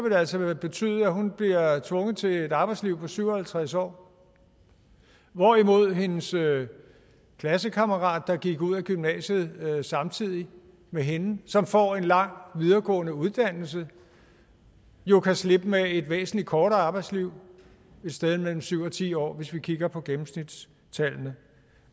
det altså betyde at hun bliver tvunget til et arbejdsliv på syv og halvtreds år hvorimod hendes klassekammerat der gik ud af gymnasiet samtidig med hende og som får en lang videregående uddannelse jo kan slippe med et væsentlig kortere arbejdsliv et sted mellem syv og ti år kortere hvis vi kigger på gennemsnitstallene